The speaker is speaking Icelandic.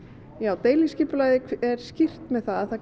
deiliskipulagið er skýrt með það